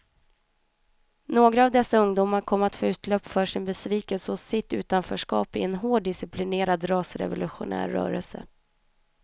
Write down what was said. Några av dessa ungdomar kom att få utlopp för sin besvikelse och sitt utanförskap i en hårt disciplinerad rasrevolutionär rörelse.